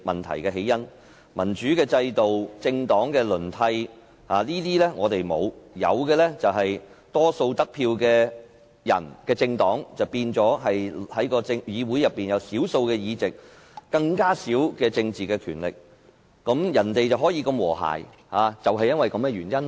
香港沒有民主制度，也沒有政黨輪替，有的只是獲得多數票的議員和政黨反而在議會內佔少數議席和很少政治權力，所以人家的國會如此和諧。